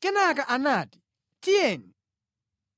Kenaka anati, “Tiyeni